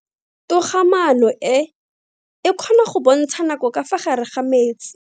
Toga-maano e, e kgona go bontsha nako ka fa gare ga metsi.